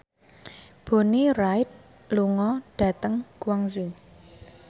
Bonnie Wright lunga dhateng Guangzhou